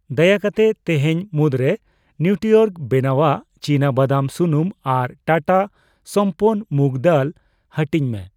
ᱫᱟᱭᱟ ᱠᱟᱛᱮ ᱛᱤᱦᱤᱧ ᱢᱩᱫᱨᱮ ᱱᱤᱣᱴᱨᱤᱚᱨᱜ ᱵᱮᱱᱟᱣᱟᱜ ᱪᱤᱱᱟᱵᱟᱫᱟᱢ ᱥᱩᱱᱩᱢ ᱟᱨ ᱴᱟᱴᱟ ᱥᱟᱢᱯᱟᱱᱱ ᱢᱩᱜ ᱫᱟᱹᱞ ᱦᱟᱹᱴᱤᱧ ᱢᱮ ᱾